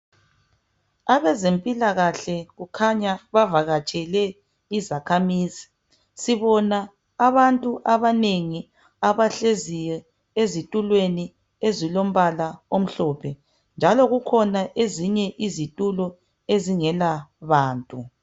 Abezempilakahle kukhanya bavakatshele izakhamizi. Sibona abantu abanengi abahleziyo ezitulweni ezilombala omhlophe. Njalo kukhona ezinye izitulo ezingela bantu.